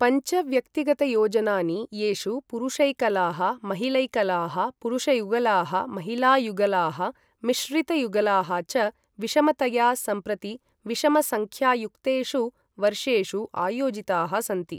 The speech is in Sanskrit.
पञ्च व्यक्तिगतायोजनानि, येषु पुरुषैकलाः, महिलैकलाः, पुरुषयुगलाः, महिलायुगलाः, मिश्रितयुगलाः च विषमतया सम्प्रति विषमसंख्यायुक्तेषु वर्षेषु आयोजिताः सन्ति।